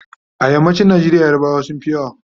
a yammacin Nigeria yarbawa sunfi yawa